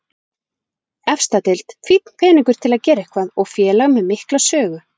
Efsta deild, fínn peningur til að gera eitthvað og félag með mikla sögu.